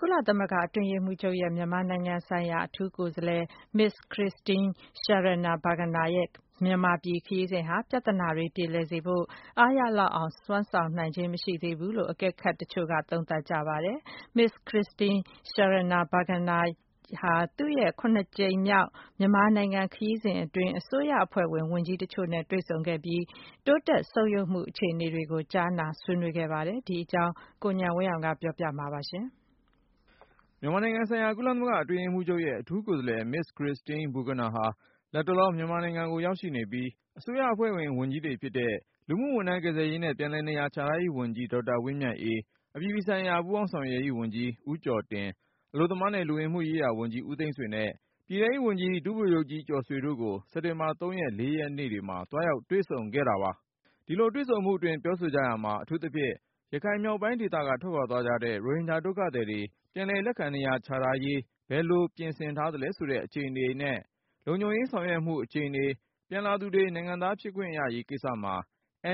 ကုလသမဂ္ဂ အတွင်းရေးမှူးချုပ်ရဲ့ မြန်မာနိုင်ငံဆိုင်ရာ အထူးကိုယ်စားလှယ် Ms. Christine Schraner Burgener ရဲ့ မြန်မာပြည်ခရီးစဉ်ဟာ ပြဿနာတွေ ပြေလည်စေဖို့ အားရလောက်အောင် စွမ်းဆောင်နိုင်ခြင်း မရှိသေးဘူးလို့ အကဲခတ်တချို့က သုံးသပ်ပါတယ်။ Ms. Christine Schraner Burgener ဟာ သူ့ရဲ့ ကြိမ်မြောက် မြန်မာနိုင်ငံခရီးစဉ်အတွင်း အစိုးရအဖွဲ့ဝင် ဝန်ကြီးတချို့နဲ့ တွေ့ဆုံပြီး တိုးတက်ဆုတ်ယုတ်မှု အခြေအနေတွေကို ကြားနာ ဆွေးနွေးခဲ့ပါတယ်။ ဒီအကြောင်း ကိုဉာဏ်ဝင်းအောင်က ပြောပြမှာပါ။ မြန်မာနိုင်ငံဆိုင်ရာ ကုလသမဂ္ဂအတွင်းရေးမှူးချုပ်ရဲ့ အထူးကိုယ်စားလှယ် Ms. Christine Schraner Burgener ဟာ လတ်တလော မြန်မာ နိုင်ငံကို ရောက်ရှိနေပြီး၊ အစိုးရအဖွဲ့ဝင် ဝန်ကြီးတွေ ဖြစ်တဲ့ လူမှုဝန်ထမ်း ကယ်ဆယ်ရေးနဲ့ ပြန်လည်နေရာချထားရေးဝန်ကြီး ဒေါက်တာ ဝင်းမြတ်အေး၊ အပြည်ပြည်ဆိုင်ရာ ပူးပေါင်းဆောင်ရွက်ရေးဝန်ကြီး ဦးကျော်တင်၊ အလုပ်သမားနဲ့ လူဝင်မှုရေးရာဝန်ကြီး ဦးသိန်းဆွေနဲ့ ပြည်ထဲရေးဝန်ကြီး ဒုဗိုလ်ချုပ်ကြီး ကျော်ဆွေတို့ကို စက်တင်ဘာ ၃ ရက် ၄ ရက်နေ့တွေမှာ သွားရောက်တွေ့ဆုံခဲ့ပါတယ်။ ဒီလို တွေ့ဆုံမှုအတွင်း ပြောဆိုကြရာမှာ အထူးသဖြင့်တော့ ရခိုင်မြောက်ပိုင်းဒေသက ထွက်ခွာသွားကြတဲ့ ရိုဟင်ဂျာဒုက္ခသည်တွေ ပြန်လည် လက်ခံ နေရာချထားရေး ဘယ်လိုပြင်ဆင်ထားသလဲဆိုတဲ့ အခြေအနေနဲ့ လုံခြုံရေး ဆောင်ရွက်ထားမှု အခြေအနေ၊ ပြန်လာသူတွေ နိုင်ငံသား ဖြစ်ခွင့်ရရေးကိစ္စမှာ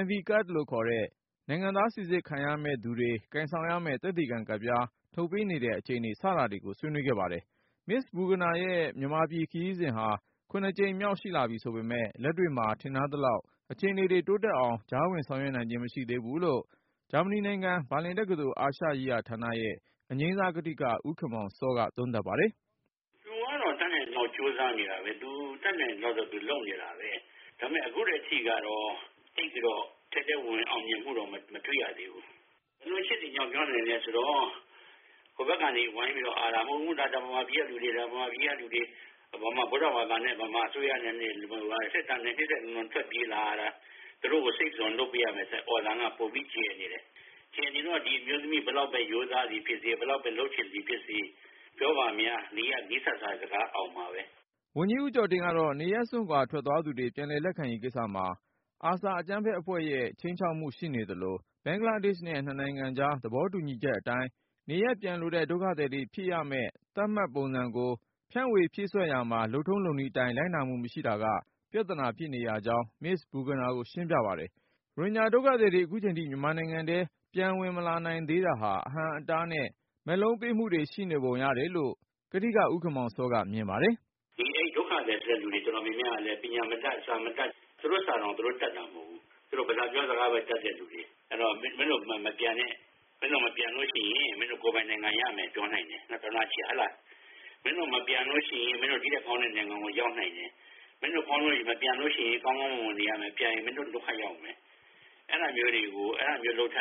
NV Card လို့ခေါ်တဲ့နိုင်ငံသား စိစစ်ခံရမယ့်သူတွေ ကိုင်ဆောင်ရမယ့် သက်သေခံကတ်ပြား ထုတ်ပေးနေတဲ့ အခြေအနေ စတာတွေကို ဆွေးနွေးခဲ့ပါတယ်။ Ms. Burgener ရဲ့ မြန်မာပြည် ဒီခရီးစဉ်ဟာ ကြိမ်မြောက်ရှိလာပြီဆိုပေမယ့် လက်တွေ့မှာ ထင်ထားသလောက် အခြေအနေတွေ တိုးတက်အောင် ကြားဝင်ဆောင်ရွက်နိုင်ခြင်း မရှိသေးဘူးလို့ ဂျာမနီနိုင်ငံ ဘာလင်တက္ကသိုလ် အာရှရေးရာဌာနရဲ့ အငြိမ်းစား ကထိက ဦးခင်မောင်စောက သုံးသပ်ပါတယ်။ “သူကတော့ တတ်နိုင်သလောက်တော့ ကြိုးစားနေတာပဲ၊ တတ်နိုင်သလောက်တော့လုပ်နေတာပဲ။ ဒါပေမယ့် အခုအထိကတော့ ထဲထဲဝင်ဝင်အောင်မြင်မှုကတော့ မတွေ့ရသေးဘူး ဘယ်လိုအချက်တွေကြောင့်ပြောနိုင်သလဲဆိုတော့ ဟိုဘက်ကနေ ဝိုင်းပြီးတော့ မဟုတ်ဘူး မြန်မာပြည်ကသူတွေ မြန်မာ ဗုဒ္ဓဘာသာ နဲ့ အစိုးရနဲ့ စစ်တပ်နဲ့ တိုက်လို့ ထွက်ပြေးလာရတာ ဆိုတဲ့ အော်သံက ပိုပြီးကျယ်နေတယ်။ အဲဒီတော့ ဒီအမျိုးသမီးက ဘယ်လောက်ပဲ ရိုးသားသည်ဖြစ်စေ၊ ဘယ်လောက် လုပ်ချင်တယ်ဖြစ်စေ ပြောဖန်များ နီးစပ်တဲ့စကားကပဲ အောင်မှာပဲ ။” ဝန်ကြီး ဦးကျော်တင်ကတော့ နေရပ်စွန့်ခွာထွက်သွားသူတွေ ပြန်လည်လက်ခံရေးကိစ္စမှာ ARSA အကြမ်းဖက်အဖွဲ့ရဲ့ ခြိမ်းခြောက်မှုရှိနေသလို၊ ဘင်္ဂလားဒေ့ရှ်နဲ့ နှစ်နိုင်ငံကြား သဘောတူညီချက်အတိုင်း နေရပ်ပြန်လိုတဲ့ ဒုက္ခသည်တွေ ဖြည့်ရမယ့်သတ်မှတ်ပုံစံကို ဖြန့်ဝေဖြည့်စွက်ရာမှာ လုပ်ထုံးလုပ်နည်းအတိုင်း လိုက်နာမှုမရှိတာက ပြဿနာဖြစ်နေရကြောင်း Ms. Burgener ကိုရှင်းပြပါတယ်။ ရိုဟင်ဂျာဒုက္ခသည်တွေ အခုချိန်ထိ မြန်မာနိုင်ငံထဲ ပြန်ဝင်မလာနိုင်သေးတာဟာ အဟန့်အတားနဲ့ မက်လုံးပေးမှုတွေ ရှိနေပုံရတယ်လို့ ကထိက ဦးခင်မောင်စောက မြင်ပါတယ်။ “ဒုက္ခသည်တွေတော်တော်များများကလည်း ပညာမတတ်၊ စာမတတ် သူတို့ စာတောင်သူတို့ တတ်တာမဟုတ်ဘူး။ ပြောတဲ့ စကားပဲ တတ်တဲ့သူတွေဆိုတော့ မင်းတို့မပြန်နဲ့ ၊ မပြန်ရင် ကိုယ်ပိုင်နိုင်ငံရတယ် ပြောနိုင်တယ်။ မင်းတို့မပြန်လို့ရှိရင် ဒီထက်ကောင်းနဲ့ နိုင်ငံကို ရောက်နိုင်တယ်။ မင်းတို့မပြန်ရင် ကောင်းကောင်းမွန်မွန်နေရမယ် ပြန်ရင် ဒုက္ခရောက်မယ် အဲဒါမျိုးတွေကို သူတို့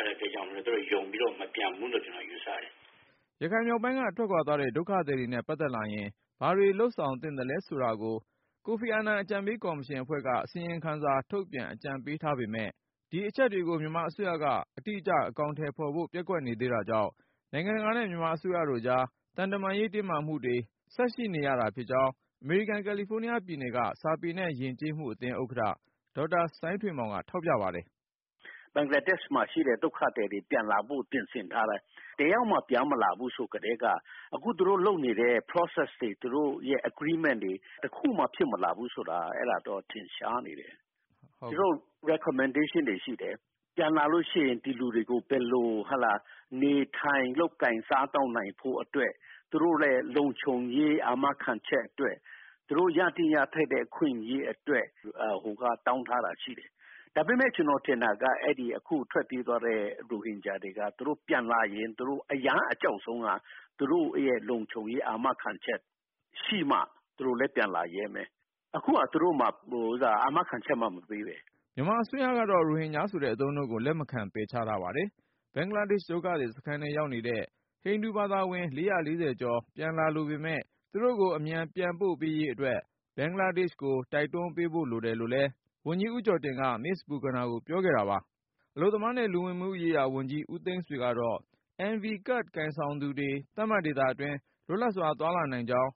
ယုံပြီး မပြန်ဘူးလို့ ကျနော်ယူဆတယ်။” ရခိုင်မြောက်ပိုင်းက ထွက်သွားတဲ့ ဒုက္ခသည်တွေနဲ့ပတ်သက်လာရင် ဘာတွေလုပ်ဆောင်သင့်သလဲဆိုတာ ကိုဖီအာနန် ရခိုင်အကြံပေး ကော်မရှင်အဖွဲ့က အစီရင်ခံစာထုတ်ပြန် အကြံပေးထားပေမယ့် အဲဒီအချက်တွေကို မြန်မာအစိုးရက အတိအကျ အကောင်အထည်ဖေါ်ဖို့ ပျက်ကွက်နေသေးတာကြောင့် နိုင်ငံတကာနဲ့ မြန်မာအစိုးရတို့ကြား သံတမန်ရေး တင်းမာမှုတွေ ဆက်ရှိနေရတာဖြစ်ကြောင်း အမေရိကန် ကယ်လီဖိုးနီးယားပြည်နယ်က ရှမ်းစာပေနဲ့ ယဉ်ကျေးမှုအသင်း ဥက္ကဌ ဒေါက်တာ စိုင်းထွေးမောင်က ထောက်ပြပါတယ်။ “ဘင်္ဂလားဒေ့ရှ်မှာရှိတဲ့ ဒုက္ခသည်တွေ ပြန်လာဖို့အတွက် ပြင်ဆင်ထားတယ်။ တယောက်မှ ပြန်မလာဘူးဆိုကတည်းက အခုသူတို့ လုပ်နေတဲ့ Process တွေ agreement တွေက တခုမှ ဖြစ်မလာဘူးဆိုတာက အဲဒါကတော့ ထင်ရှားနေတယ်။ သူတို့ recommendation တွေရှိတယ်။ ပြန်လာရင် သူတို့ ဒီလူတွေကို ဘယ်လို နေထိုင်လုပ်ကိုင်စားသောက်နိုင်ဖို့အတွက် သူတို့ လုံခြုံရေး အာမခံချက်အတွက် သူတို့ ရသင့်ရထိုက်တဲ့ အခွင့်အရေးအတွက် ဟိုဘက်က တောင်းထားတာရှိတယ်။ ဒါပေမယ့် ကျနော်ထင်တာက အဲဒီ အခုထွက်ပြေးသွားတဲ့ ရိုဟင်ဂျာတွေက သူတို့ ပြန်လာရင် အကြောက်ဆုံးက သူတို့လုံခြုံရေးအာမခံချက်ရှိမှ သူတို့လည်း ပြန်လာရဲမယ်။ အခုက သူတို့ အာမခံချက်မှ မပေးပဲ။” မြန်မာအစိုးရကတော့ ရိုဟင်တွေဆိုတဲ့ အသုံးအနှုန်းကို လက်မခံပယ်ချထားပါတယ်။ ဘင်္ဂလားဒုက္ခသည် စခန်းထဲရောက်နေတဲ့ ဟိန္ဒူဘာသာ ဝင် ကျော် ပြန်လာလိုပေမယ့် သူတို့ကိုအမြန်ပြန်ပို့ပေးရေးအတွက် ဘင်္ဂလားဒေ့ရှ်ကို တိုက်တွန်းပေးဖို့ကိုလည်း ဝန်ကြီးဦးကျော်တင်က Ms. Burgener ကိုပြောခဲ့တာပါ။ အလုပ်သမားနဲ့ လူဝင်မှုကြီးကြပ်ရေးဝန်ကြီး ဦးသိန်းဆွေကတော့ NV Card ကိုင်ဆောင်သူတွေ သတ်မှတ်ဒေသတွင်း လွတ်လပ်စွာ သွားလာ နိုင်ကြောင်း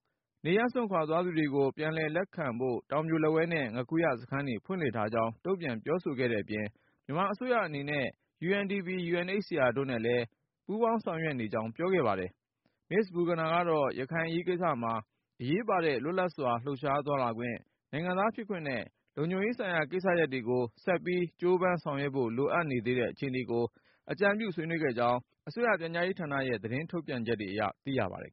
၊ နေရပ်စွန့်ခွာသွားသူတွေကို ပြန်လည်လက်ခံဖို့ တောင်ပြိုလက်ဝဲနဲ့ ငါးခူရ စခန်းတွေ ဖွင့်လှစ်ထားကြောင်း တုန့်ပြန်ပြောဆိုခဲ့တဲ့ အပြင် မြန်မာအစိုးရအနေနဲ့ UNDP/ UNHCR တို့နဲ့လည်း ပူးပေါင်းဆောင်ရွက်နေကြောင်း ပြောကြားခဲ့ပါတယ်။ Ms. Burgener ကတော့ ရခိုင်အရေးကိစ္စမှာ အရေးပါတဲ့ လွတ်လပ်စွာလှုပ်ရှားသွားလာခွင့်၊ နိုင်ငံသားဖြစ်ခွင့်နဲ့ လုံခြုံရေးဆိုင်ရာ ကိစ္စတွေကို ဆက်ပြီးကြိုးပမ်း ဆောင်ရွက်ဖို့ လိုအပ်နေသေးတဲ့ အခြေအနေတွေကို အကြံပြု ဆွေးနွေးခဲ့ကြောင်း အစိုးရပြန်ကြားရေးဌာနရဲ့ သတင်းထုတ်ပြန်ချက်အရ သိရပါတယ်